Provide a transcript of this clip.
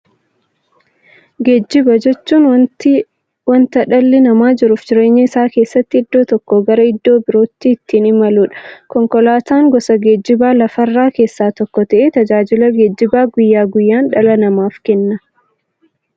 Geejjiba jechuun wanta dhalli namaa jiruuf jireenya isaa keessatti iddoo tokkoo gara iddoo birootti ittiin imaluudha. Konkolaatan gosa geejjibaa lafarraa keessaa tokko ta'ee, tajaajila geejjibaa guyyaa guyyaan dhala namaaf kenna.